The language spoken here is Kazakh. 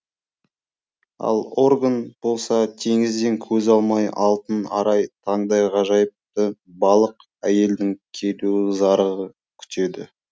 ал орган болса теңізден көз алмай алтын арай таңдай ғажайыпты балық әйелдің келуін зарыға күтеді